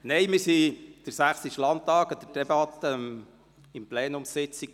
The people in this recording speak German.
Wir besuchten den Sächsischen Landtag anlässlich einer Debatte der Plenumssitzung.